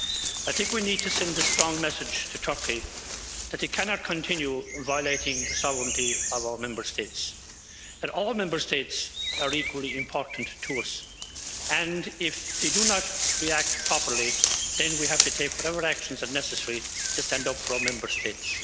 I think we need to send a strong message to Turkey that it cannot continue violating the sovereignty of our Member States, that all Member States are equally important to us, and if they do not react properly then we have to take whatever actions are necessary to stand up for our Member States.